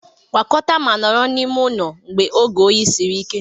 Gwakọta ma nọrọ n'ime ụlọ mgbe oge oyi siri ike